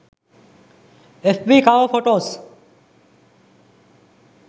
fb cover photos